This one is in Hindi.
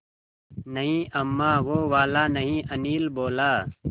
नहीं अम्मा वो वाला नहीं अनिल बोला